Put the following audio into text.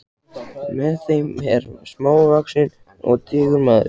Með þeim er smávaxinn og digur maður.